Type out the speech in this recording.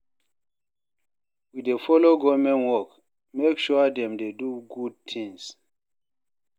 We dey folo government work, make sure dem dey do good tin.